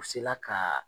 U sela ka